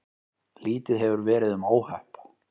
Lítið hefur verið um óhöpp